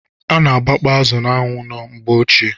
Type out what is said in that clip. Ana agbakpọ azụ n'anwụ na mgbeochie.